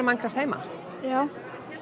Minecraft heima já